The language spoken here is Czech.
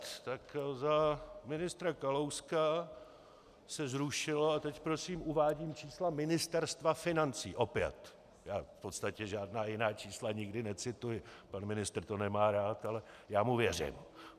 Tak za ministra Kalouska se zrušilo, a teď prosím uvádím čísla Ministerstva financí opět, já v podstatě žádná jiná čísla nikdy necituji, pan ministr to nemá rád, ale já mu věřím.